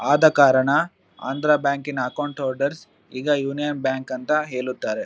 ಆದ ಕಾರಣ ಆಂಧ್ರ ಬ್ಯಾಂಕಿನ ಅಕೌಂಟ್ ಹೊಲ್ದರ್ಸ್ ಈಗ ಯೂನಿಯನ್ ಬ್ಯಾಂಕ್ ಅಂತ ಹೇಳುತ್ತಾರೆ .